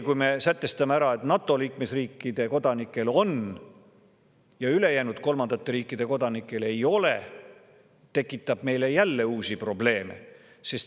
Kui me sätestame nii, et NATO liikmesriikide kodanikel on ja ülejäänud kolmandate riikide kodanikel ei ole, siis see tekitab meile jälle uusi probleeme.